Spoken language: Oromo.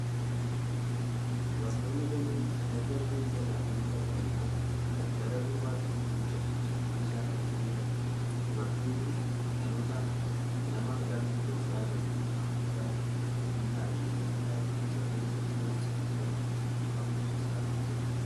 Dubartoonni danuun erga rifeensa isaanii filataniin booda gara duubaattii luuccessuuf meeshaa kana fayyadamu. Dubartiin kun dhalootaan nama lammii Itoophiyaa yookiin Afirikaa hin taane yommuu taatu, rifeensa ishee duubatti afuufsisaa jirti.